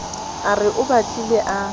a re o batlile a